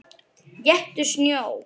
Éttu snjó.